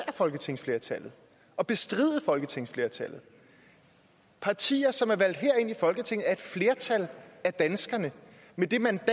folketingsflertallet at bestride folketingsflertallet partier som er valgt herind i folketinget af et flertal af danskerne med det mandat